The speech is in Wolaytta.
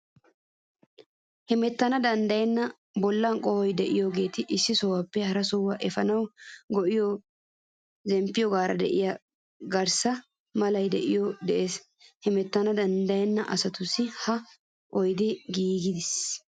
Hemettanawu danddayenna bollan qohoy de'iyogeeta issi sohuwaappe hara sohuwaa efaanawu go'iya zemppiyogaara de'iya gaare mala oydee de"ees. Hemettanawu danddayenna asatussi ha oydee giigees.